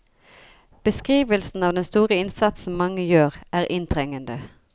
Beskrivelsen av den store innsatsen mange gjør, er inntrengende.